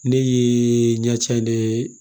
Ne ye ɲɛ ca ne ye